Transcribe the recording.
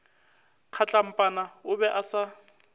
kgatlampana o be a sa